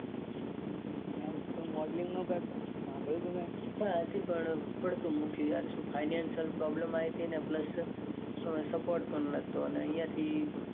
હું તો modeling નો કરતો. સાંભયું તું ન મેં. ઈચ્છા હતી પણ પસી પડતું મૂક્યું. financial problem આવી હતી. ને plus support પણ નતો. અને અહીંયા થી